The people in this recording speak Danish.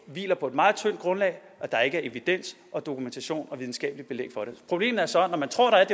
hviler på et meget tyndt grundlag og der er ikke evidens og dokumentation og videnskabeligt belæg for det problemet er så at når man tror at